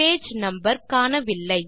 page number காணவில்லை